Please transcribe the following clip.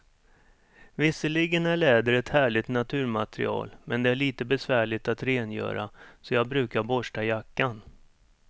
Visserligen är läder ett härligt naturmaterial, men det är lite besvärligt att rengöra, så jag brukar borsta jackan.